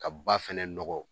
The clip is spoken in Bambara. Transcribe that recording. Ka ba fɛnɛ nɔgɔ